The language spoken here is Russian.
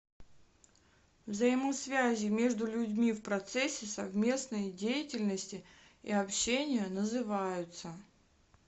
взаимосвязи между людьми в процессе совместной деятельности и общения называются